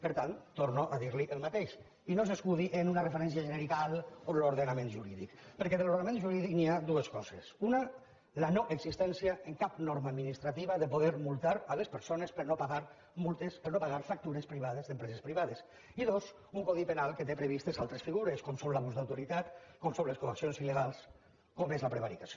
per tant torno a dir li el mateix i no s’escudi en una referència genèrica a l’ordenament jurídic perquè de l’ordenament jurídic hi ha dues coses una la noexistència en cap norma administrativa de poder multar les persones per no haver pagat factures privades d’empreses privades i dos un codi penal que té previstes altres figures com són l’abús d’autoritat com són les coaccions il·legals com és la prevaricació